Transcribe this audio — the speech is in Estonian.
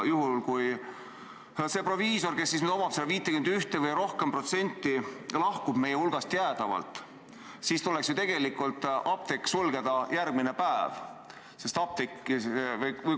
Juhul kui see proviisor, kellele kuulub 51% või rohkem, lahkub meie hulgast jäädavalt, siis tuleks ju tegelikult apteek järgmine päev sulgeda.